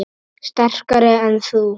Sterkari en þú?